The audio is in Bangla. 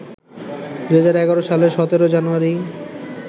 ২০১১ সালের ১৭ই জানুয়ারি